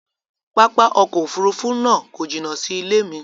Pápá ọkọ̀ òfurufú náà kọ jina sí ilẹ̀ mi